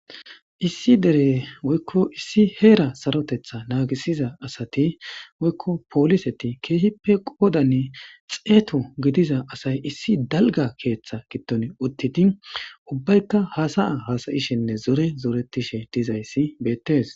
Issi dere woykko issi heera sarotetha naagisiza asati woykko pooliseti keehippe qoodanne xeeto gidiza asay issi dalga keeththa gitton uttidi ubbaykka hasaya hasayishenne zore zoretishe dizayssi beettes.